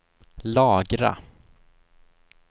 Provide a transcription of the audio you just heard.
lagra